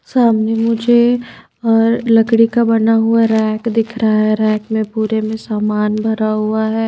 सामने मुझे और लकड़ी का बना हुआ रैक दिख रहा है रैक में पूरे में सामान भरा हुआ है।